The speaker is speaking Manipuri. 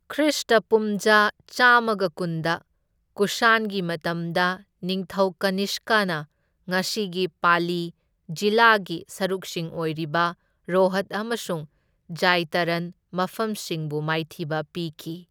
ꯈ꯭ꯔꯤꯁꯇ ꯄꯨꯝꯖꯥ ꯆꯥꯝꯃꯒ ꯀꯨꯟꯗ, ꯀꯨꯁꯥꯟꯒꯤ ꯃꯇꯝꯗ, ꯅꯤꯡꯊꯧ ꯀꯅꯤꯁꯀꯅ ꯉꯁꯤꯒꯤ ꯄꯥꯂꯤ ꯖꯤꯂꯥꯒꯤ ꯁꯔꯨꯛꯁꯤꯡ ꯑꯣꯏꯔꯤꯕ ꯔꯣꯍꯠ ꯑꯃꯁꯨꯡ ꯖꯦꯏꯇꯥꯔꯟ ꯃꯐꯝꯁꯤꯡꯕꯨ ꯃꯥꯏꯊꯤꯕ ꯄꯤꯈꯤ꯫